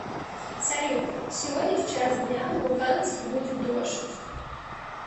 салют сегодня в час дня в луганске будет дождь